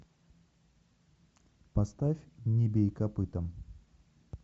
поставь не бей копытом